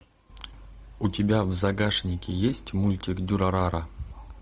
у тебя в загашнике есть мультик дюрарара